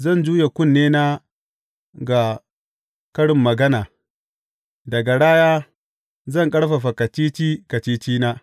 Zan juye kunnena ga karin magana; da garaya zan ƙarfafa kacici kacicina.